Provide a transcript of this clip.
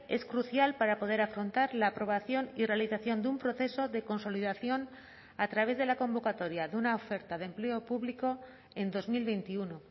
es crucial para poder afrontar la aprobación y realización de un proceso de consolidación a través de la convocatoria de una oferta de empleo público en dos mil veintiuno